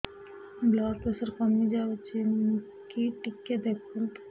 blood pressure କମି ଯାଉଛି କି ଟିକେ ଦେଖନ୍ତୁ